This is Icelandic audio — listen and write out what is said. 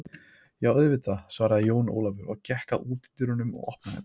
Jú auðvitað, svarði Jón Ólafur og gekk að útidyrunum og opnaði þær.